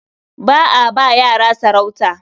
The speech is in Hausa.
Ba a ba yara sarauta.